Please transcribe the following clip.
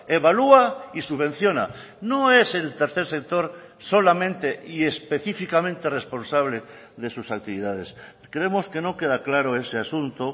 evalúa y subvenciona no es el tercer sector solamente y específicamente responsable de sus actividades creemos que no queda claro ese asunto